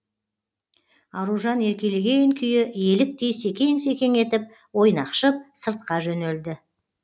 аружан еркелеген күйі еліктей секең секең етіп ойнақшып сыртқа жөнелді